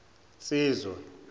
nsizwa